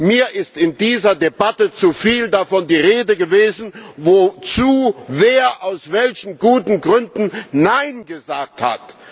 Mir ist in dieser Debatte zu viel davon die Rede gewesen, wozu wer aus welchen guten Gründen Nein gesagt hat.